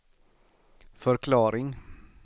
förklaring